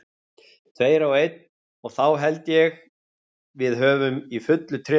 Tveir á einn og þá held ég við höfum í fullu tré við þá.